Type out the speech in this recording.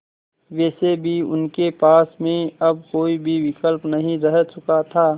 वैसे भी उनके पास में अब कोई भी विकल्प नहीं रह चुका था